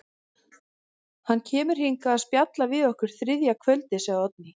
Hann kemur hingað að spjalla við okkur þriðja kvöldið, segir Oddný.